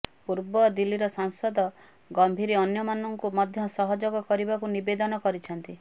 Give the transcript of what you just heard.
ପୂର୍ବ ଦିଲ୍ଲୀର ସାଂସଦ ଗମ୍ଭୀର ଅନ୍ୟମାନଙ୍କୁ ମଧ୍ୟ ସହଯୋଗ କରିବାକୁ ନିବେଦନ କରିଛନ୍ତି